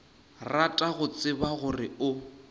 rata go tseba gore o